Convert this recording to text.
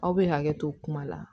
Aw bɛ hakɛ to kuma la